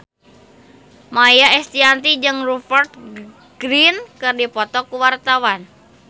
Maia Estianty jeung Rupert Grin keur dipoto ku wartawan